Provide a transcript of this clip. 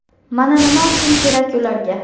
Mana nima uchun kerak ularga.